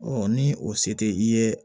ni o se tɛ i ye